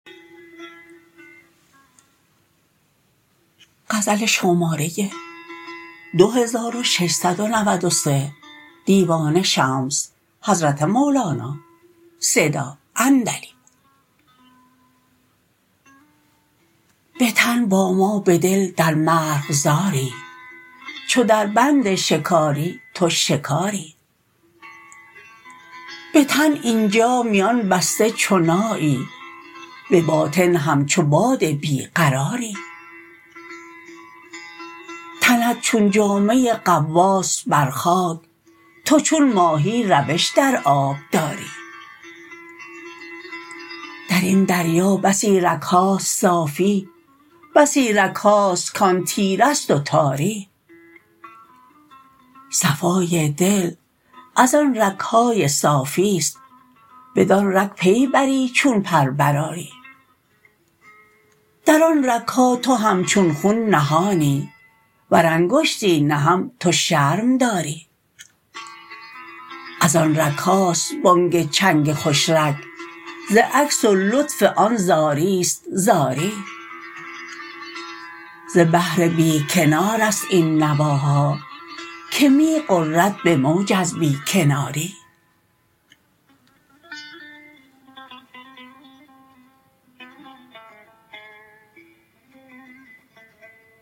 به تن با ما به دل در مرغزاری چو دربند شکاری تو شکاری به تن این جا میان بسته چو نایی به باطن همچو باد بی قراری تنت چون جامه غواص بر خاک تو چون ماهی روش در آب داری در این دریا بسی رگ هاست صافی بسی رگ هاست کان تیره است و تاری صفای دل از آن رگ های صافی است بدان رگ پی بری چون پر برآری در آن رگ ها تو همچون خون نهانی ور انگشتی نهم تو شرم داری از آن رگ هاست بانگ چنگ خوش رگ ز عکس و لطف آن زاری است زاری ز بحر بی کنار است این نواها کی می غرد به موج از بی کناری